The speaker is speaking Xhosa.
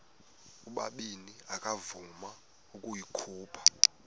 ubabini akavuma ukuyikhupha